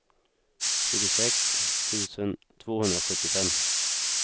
tjugosex tusen tvåhundrasjuttiofem